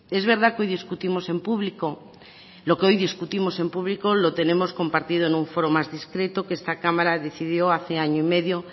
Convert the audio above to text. es verdad que hoy discutimos en público lo que hoy discutimos en público lo tenemos compartido en un foro más discreto que esta cámara decidió hace año y medio